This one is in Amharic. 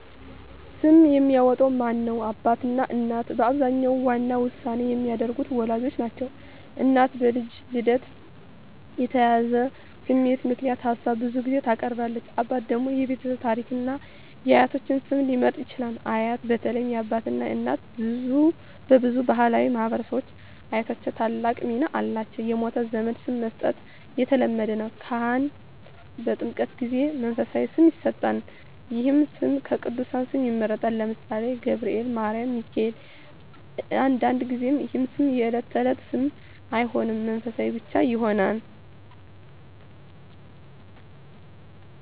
ስም የሚያወጣው ማን ነው? አባትና እናት በአብዛኛው ዋና ውሳኔ የሚያደርጉት ወላጆች ናቸው። እናት በልጁ ልደት የተያያዘ ስሜት ምክንያት ሀሳብ ብዙ ጊዜ ታቀርባለች። አባት ደግሞ የቤተሰብ ታሪክን እና የአያቶች ስም ሊመርጥ ይችላል። አያት (በተለይ የአባት አባት/እናት) በብዙ ባሕላዊ ማኅበረሰቦች አያቶች ታላቅ ሚና አላቸው። የሞተ ዘመድ ስም መስጠት (መታሰቢያ) የተለመደ ነው። ካህን (በኦርቶዶክስ ተምህርት) በጥምቀት ጊዜ መንፈሳዊ ስም ይሰጣል። ይህ ስም ከቅዱሳን ስም ይመረጣል (ለምሳሌ፦ ገብርኤል፣ ማርያም፣ ሚካኤል)። አንዳንድ ጊዜ ይህ ስም የዕለት ተዕለት ስም አይሆንም፣ መንፈሳዊ ብቻ ይሆናል።